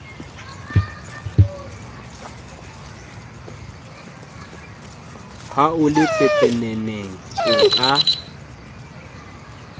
ha o pepeneneng o ka